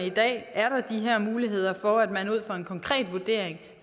i dag de her muligheder for at man ud fra en konkret vurdering